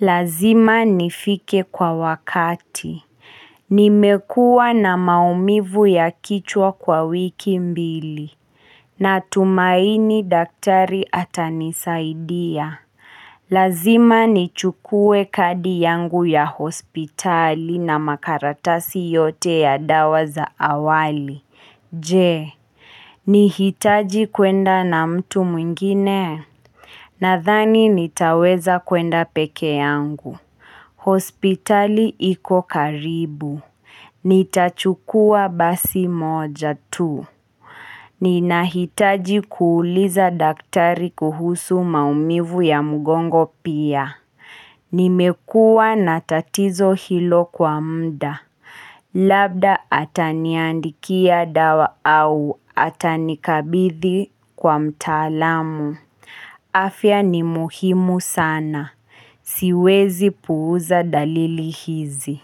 Lazima nifike kwa wakati. Nimekuwa na maumivu ya kichwa kwa wiki mbili. Natumaini daktari atanisaidia. Lazima nichukue kadi yangu ya hospitali na makaratasi yote ya dawa za awali. Je nihitaji kwenda na mtu mwingine Nadhani nitaweza kwenda peke yangu hospitali iko karibu Nitachukua basi moja tu Ninahitaji kuuliza daktari kuhusu maumivu ya mgongo pia Nimekua na tatizo hilo kwa mda Labda ataniandikia dawa au atanikabidhi kwa mtaalamu. Afya ni muhimu sana. Siwezi puuza dalili hizi.